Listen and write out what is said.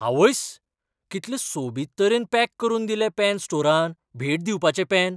आवयस्स, कितलें सोबीत तरेन पॅक करून दिलें पॅन स्टोरान भेट दिवपाचें पॅन!